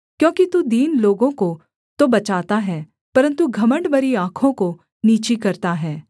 क्योंकि तू दीन लोगों को तो बचाता है परन्तु घमण्ड भरी आँखों को नीची करता है